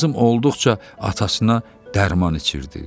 Lazım olduqca atasına dərman içirirdi.